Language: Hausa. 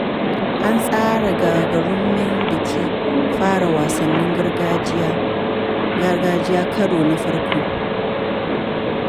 An tsara gagarumin bikin fara wasannin gargajiya karo na farko.